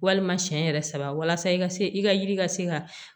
Walima siɲɛ yɛrɛ saba walasa i ka se i ka yiri ka se ka